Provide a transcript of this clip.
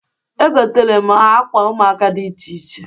Egotara m ha akwa ụmuaka dị iche iche.